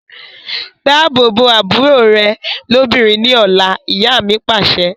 Dáàbò bo àbúrò rẹ lóbìnrin ni ọ̀la, ìyá mi Pàṣẹ.